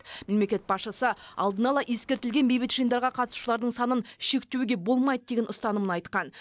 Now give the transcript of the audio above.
мемлекет басшысы алдын ала ескертілген бейбіт жиындарға қатысушылардың санын шектеуге болмайды деген ұстанымын айтқан